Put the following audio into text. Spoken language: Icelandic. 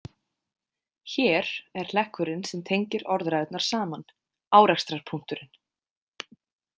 „Hér“ er hlekkurinn sem tengir orðræðurnar saman, árekstrarpunkturinn.